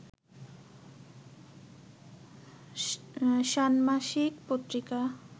ষান্মাসিক পত্রিকা